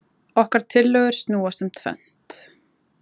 Okkar tillögur snúast um tvennt